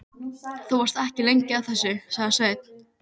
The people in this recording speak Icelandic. Þú varst ekki lengi að þessu, sagði Sveinn.